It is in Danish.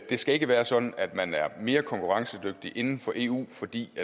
skal ikke være sådan at man er mere konkurrencedygtig inden for eu fordi